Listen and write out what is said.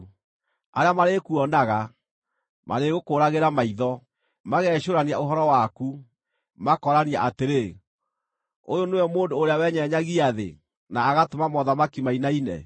Arĩa marĩkuonaga, marĩgũkũũragĩra maitho, magecũũrania ũhoro waku, makoorania atĩrĩ, “Ũyũ nĩwe mũndũ ũrĩa wenyenyagia thĩ na agatũma mothamaki mainaine,